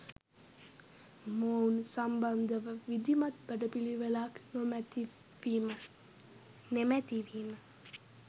මොවුන් සම්බන්ධව විධිමත් වැඩපිලිවෙලක් නෙමැති වීම